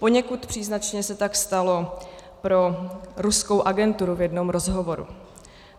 Poněkud příznačně se tak stalo pro ruskou agenturu v jednom rozhovoru.